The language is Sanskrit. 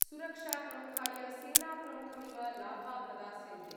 सुरक्षाप्रमुखाय सेनाप्रमुखमिव लाभा प्रदास्यन्ते।